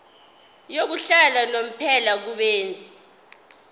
yokuhlala unomphela kubenzi